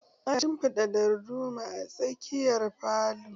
Ana shinfiɗa darduma a tsakiyar falo